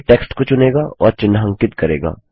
यह टेक्स्ट को चुनेगा और चिन्हांकित करेगा